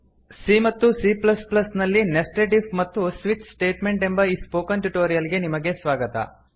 C ಮತ್ತು C plus plus ಸಿಎ ನಲ್ಲಿ ನೆಸ್ಟೆಡ್ ಇಫ್ ಮತ್ತು ಸ್ವಿಚ್ ಸ್ಟೇಟ್ಮೆಂಟ್ ಎಂಬ ಈ ಸ್ಪೋಕನ್ ಟ್ಯುಟೋರಿಯಲ್ ಗೆ ನಿಮಗೆ ಸ್ವಾಗತ